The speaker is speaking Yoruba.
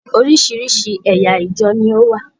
Oríṣiríṣi ẹ̀yà ìjọ ní ó wà.